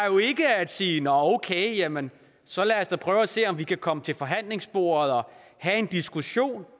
at sige nå okay jamen så lad os da prøve at se om vi kan komme til forhandlingsbordet og have en diskussion